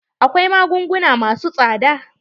Akwai magunguna masu tsada.